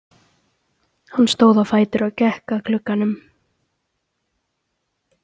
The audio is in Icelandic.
Hann stóð á fætur og gekk að glugganum.